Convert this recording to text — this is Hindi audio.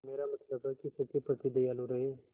मेरा मतलब है कि सबके प्रति दयालु रहें